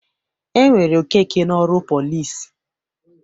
E were Okeke n'ọrụ pọlịs.